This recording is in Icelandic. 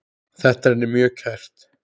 Þetta er henni mjög kært.